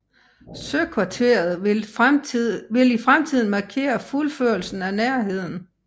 Søkvarteret vil i fremtiden markere fuldførelsen af Nærheden